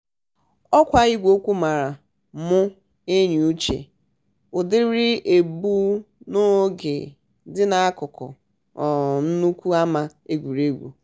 òkwa igweokwu mere mú eyiuche. údiri egbumoge di n'akúkú um nnukwu ama egwuregwu.